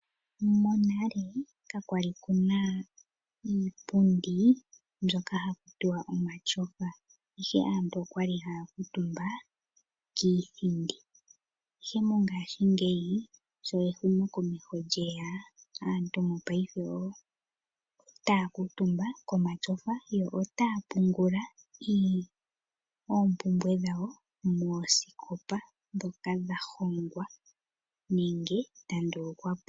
Monale kakwali kuna iipindi mbyoka hakutiwa omatyofa ihe aantu okwali haya kuutumba kiithindi. Ihe mongashingeyi sho ehumokomeho lyeya aantu otaya kuutumba komatyofa yo otaya pungula oompumbwe dhawo moosikopa ndhoka dha hongwa nenge dha ndulukwapo.